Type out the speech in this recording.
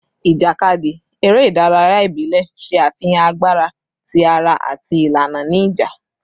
Ijakadi, ere idaraya ibile, ṣe afihan agbara ti ara ati ilana ni ija